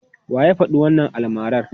Wa ya faɗi wannan almarar?